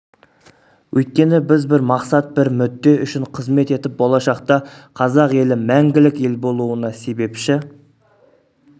өйткені біз бір мақсат бір мүдде үшін қызмет етіп болашақта қазақ елі мәңгілік ел болуына себепші